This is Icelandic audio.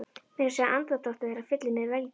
Meira að segja andardráttur þeirra fyllir mig velgju.